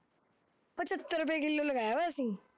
ਪਝੰਤਰ ਰੁਪਏ ਕਿਲੋ ਲਗਾਇਆ ਹੋਇਆਂ ਤੂੰ